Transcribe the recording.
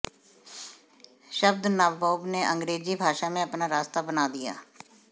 शब्द नाबोब ने अंग्रेजी भाषा में अपना रास्ता बना दिया